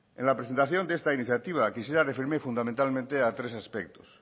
en la presentación que esta iniciativa quisiera referirme fundamentalmente a tres aspectos